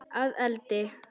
Að eldi?